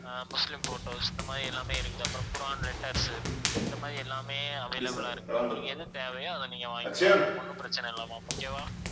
ஆஹ் Muslim photos இந்த மாதிரி எல்லாமே இருக்குது அப்புறம் குர்ஆன் letters உ இந்த மாதிரி எல்லாமே available ஆ இருக்குது உங்களுக்கு எது தேவையோ அதை நீங்க வாங்கிக்கலாம் ma'am ஒண்ணும் பிரச்சனை இல்லை ma'am okay வா